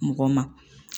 Mɔgɔ ma